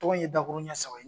Tɔgɔw in ye dakurun ɲɛ saba ye